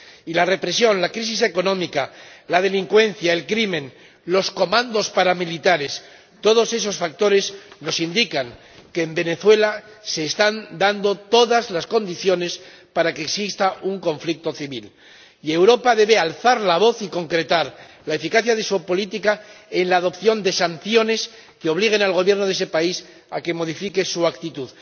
Y la represión, la crisis económica, la delincuencia, el crimen, los comandos paramilitares Todos esos factores nos indican que en Venezuela se están dando todas las condiciones para que exista un conflicto civil, y Europa debe alzar la voz y concretar la eficacia de su política en la adopción de sanciones que obliguen al Gobierno de ese país a que modifique su actitud.